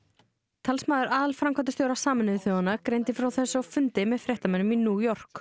talsmaður aðalframkvæmdastjóra Sameinuðu þjóðanna greindi frá þessu á fundi með fréttamönnum í New York